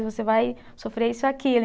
E você vai sofrer isso e aquilo.